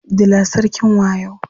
Dila sarkin wayo.